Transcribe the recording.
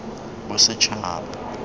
bosetšhaba